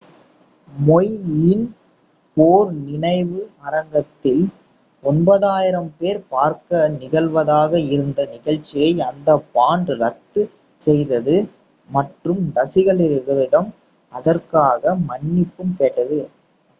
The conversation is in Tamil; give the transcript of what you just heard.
மௌய் யின் போர் நினைவு அரங்கத்தில் 9,000 பேர் பார்க்க நிகழ்வதாக இருந்த நிகழ்ச்சியை அந்த பாண்ட் ரத்து செய்தது மற்றும் ரசிகர்களிடம் அதற்காக மன்னிப்பும் கேட்டது